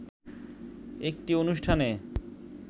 একটি অনুষ্ঠানে